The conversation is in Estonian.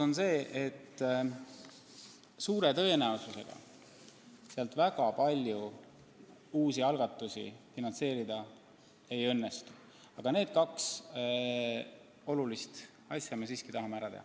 Nii et suure tõenäosusega sealt väga palju uusi algatusi finantseerida ei õnnestu, aga need kaks olulist asja me siiski tahame ära teha.